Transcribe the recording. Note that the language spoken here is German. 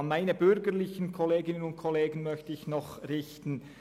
An meine bürgerlichen Kolleginnen und Kollegen möchte ich folgende Aussage richten: